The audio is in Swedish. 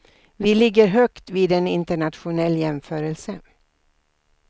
Vi ligger högt vid en internationell jämförelse.